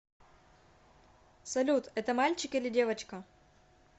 салют это мальчик или девочка